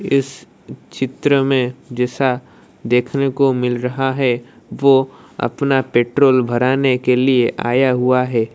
इस चित्र में जैसा देखने को मिल रहा है वो अपना पेट्रोल भराने के लिए आया हुआ है।